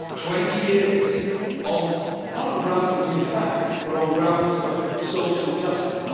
20 years, not on grounds of new facts but on grounds of social justice.